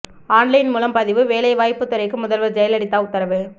on line மூலம் பதிவு வேலைவாய்ப்புத் துறைக்கு முதல்வர் ஜெயலலிதா உத்தரவு